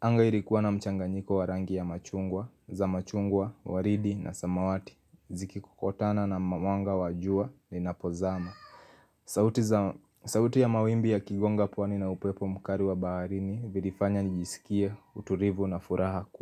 anga ili kuwa na mchanga nyiko wa rangi ya machungwa, za machungwa, waridi na samawati Ziki kokotana na mamwanga wajua ni napozama sauti ya mawimbi ya kigonga pwani na upe po mkari wa baharini Vilifanya nijisikie, uturivu na furaha kubwa.